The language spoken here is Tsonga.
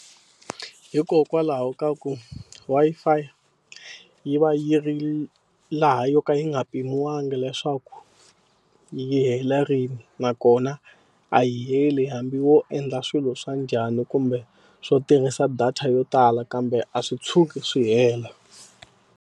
Hikokwalaho ka ku Wi-Fi yi va yi ri laha yo ka yi nga pimiwangi leswaku yi hela rini. Nakona a yi heli hambi wo endla swilo swa njhani kumbe swo tirhisa data yo tala kambe a swi tshuki swi hela.